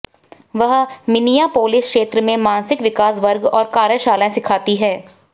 वह मिनियापोलिस क्षेत्र में मानसिक विकास वर्ग और कार्यशालाएं सिखाती है